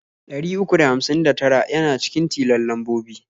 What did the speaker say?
Ɗari uku da hamsin da tara yana cikin tilon lambobi.